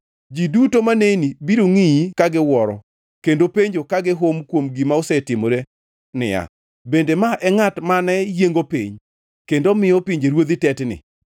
Ji duto maneni biro ngʼiyi ka giwuoro, kendo penjo ka gihum kuom gima osetimore niya, “Bende ma e ngʼat mane yiengo piny kendo miyo pinjeruodhi tetni,